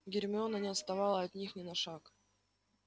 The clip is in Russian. гермиона не отставала от них ни на шаг